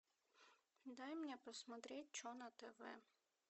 дай мне посмотреть че на тв